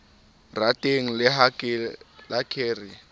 rateng le ha ke re